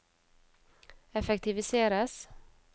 effektiviseres